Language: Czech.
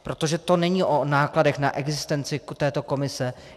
Protože to není o nákladech na existenci této komise.